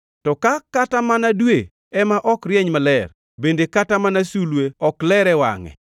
To ka kata mana dwe ema ok rieny maler bende kata mana sulwe ok ler e wangʼe,